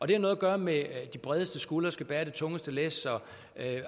det har noget at gøre med at de bredeste skuldre skal bære det tungeste læs